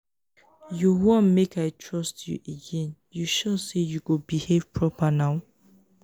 you wan make i trust you again you sure say you go behave proper now?